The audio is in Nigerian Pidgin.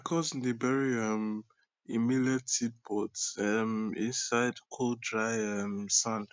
my cousin dey bury um e millet seed pot um half inside cold dry um sand